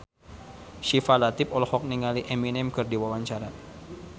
Syifa Latief olohok ningali Eminem keur diwawancara